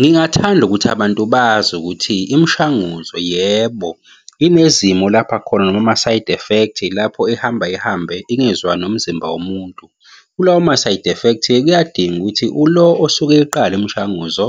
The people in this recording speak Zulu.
Ngingathanda ukuthi abantu bazi ukuthi imishanguzo yebo, inezimo lapha khona noma ama-side effect, lapho ihamba ihambe ingezwani nomzimba womuntu. Kulawo ma-side effect, kuyadinga ukuthi ulo osuke eqala imishanguzo,